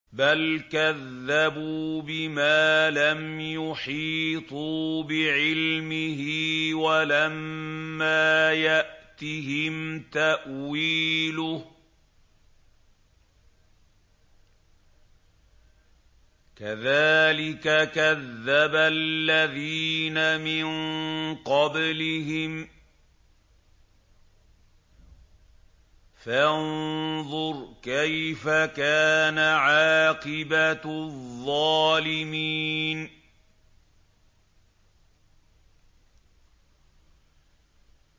بَلْ كَذَّبُوا بِمَا لَمْ يُحِيطُوا بِعِلْمِهِ وَلَمَّا يَأْتِهِمْ تَأْوِيلُهُ ۚ كَذَٰلِكَ كَذَّبَ الَّذِينَ مِن قَبْلِهِمْ ۖ فَانظُرْ كَيْفَ كَانَ عَاقِبَةُ الظَّالِمِينَ